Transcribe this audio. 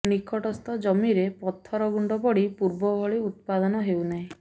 ନିକଟସ୍ଥ ଜମିରେ ପଥରଗୁଣ୍ଡ ପଡି ପୂର୍ବ ଭଳି ଉତ୍ପାଦନ ହେଉନାହିଁ